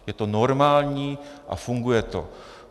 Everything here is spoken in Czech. Je to normální a funguje to.